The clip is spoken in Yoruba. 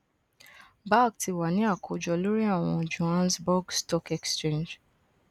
bagl ti wa ni akojọ lori awọn johannesburg stock exchange